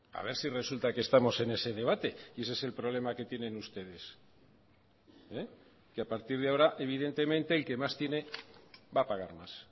a ver si resulta que estamos en ese debate y ese es el problema que tienen ustedes que a partir de ahora evidentemente el que más tiene va a pagar más